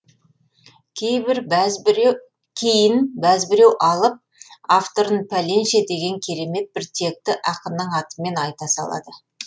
кейін бәзбіреу алып авторын пәленше деген керемет бір текті ақынның атымен айта салады